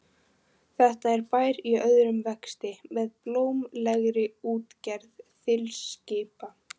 Þetta er bær í örum vexti með blómlegri útgerð þilskipa.